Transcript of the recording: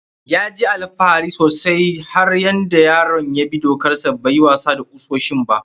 Ya ji alfahari sosai da har yaron ya bi dokar sa bai yi wasa da kusoshin ba.